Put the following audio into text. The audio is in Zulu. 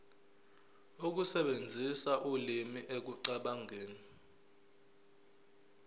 ukusebenzisa ulimi ekucabangeni